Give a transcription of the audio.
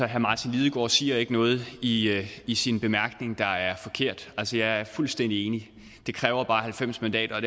herre martin lidegaard siger ikke noget i i sin bemærkning der er forkert altså jeg er fuldstændig enig det kræver bare halvfems mandater og